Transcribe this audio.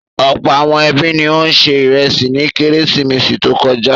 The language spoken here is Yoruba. Ọ̀pọ̀ àwọn ẹbí ni ó se ìrẹsì ní Kérésìmesì tó kọjá.